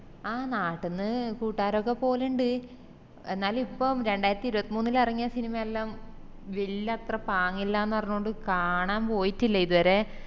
അഹ് നാട്ടിന്ന് കൂട്ടാരൊക്കെ പൊവ്ലിൻഡ് എന്നാലും ഇപ്പൊ രണ്ടായിരത്തി ഇരുപത്മൂന്നിൽ ഇറങ്ങിയ സിനിമെല്ലാം വെല്യ അത്ര പാങ്ങില്ലന്ന് പറഞ്ഞത്കൊണ്ട് കാണാൻ പോയിറ്റില്ല ഇതുവരെ